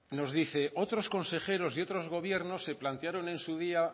nos dice otros consejeros y otros gobiernos se plantearon en su día